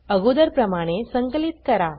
अगोदरप्रमाणे संकलित करा